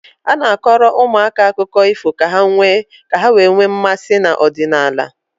A na-akọrọ ụmụaka akụkọ ifọ ka ha wee nwee mmasị n'ọdịnala.